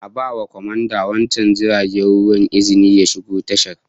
A ba kwamandan wancan jirgin ruwan izinin ya shigo tashar